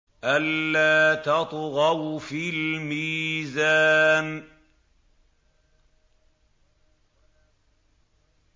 أَلَّا تَطْغَوْا فِي الْمِيزَانِ